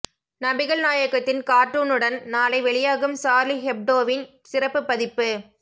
நபிகள் நாயகத்தின் கார்டூனுடன் நாளை வெளியாகும் சார்லி ஹெப்டோவின் சிறப்பு பதிப்பு